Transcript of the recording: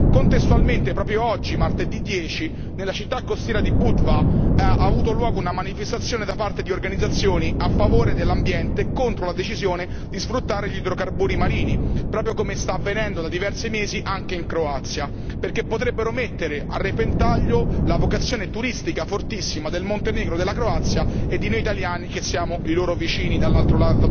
Contestualmente, proprio oggi, martedì 10, nella città costiera di Budva ha avuto luogo una manifestazione da parte di organizzazioni a favore dell'ambiente contro la decisione di sfruttare gli idrocarburi marini, proprio come sta avvenendo da diversi mesi anche in Croazia, perché potrebbero mettere a repentaglio la vocazione turistica fortissima del Montenegro, della Croazia e di noi italiani che siamo i loro vicini dall'altro